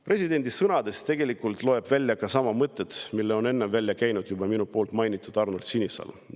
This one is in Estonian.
Presidendi sõnadest saab tegelikult välja lugeda sama mõtet, mille on enne välja käinud minu mainitud Arnold Sinisalu.